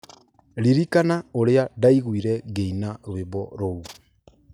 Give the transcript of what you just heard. Ririkana ũrĩa ndaiguire ngĩina rwĩmbo rũu.